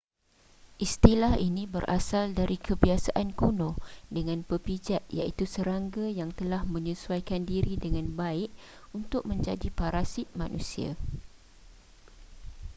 istilah ini berasal dari kebiasaan kuno dengan pepijat iaitu serangga yang telah menyesuaikan diri dengan baik untuk menjadi parasit manusia